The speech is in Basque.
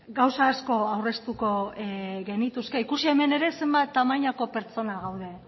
gauza asko aurreztuko genituzke ikusi hemen ere zenbat tamainako pertsona gaude